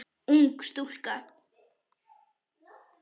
Ung stúlka.